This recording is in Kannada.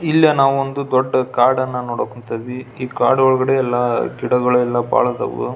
ಇಲ್ಲೇ ನಾವೊಂದು ದೊಡ್ಡ ಕಾಡನ್ನ ನೋಡಕ್ ಕುಂತೀವಿ ಈ ಕಾಡು ಒಳಗಡೆ ಎಲ್ಲ ಗಿಡಗಳೆಲ್ಲ ಭಾಳ ಅದಾವು .